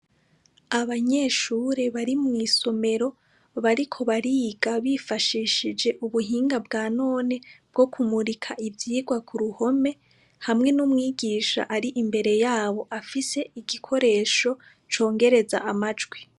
Abanyeshure bari mw'isomero bariko bariga bifashishije ubuhinga bwa none bwo kumurika ivyigwa ku ruhome hamwe n'umwigisha ari imbere yabo afise igikoresho congereza amajwi.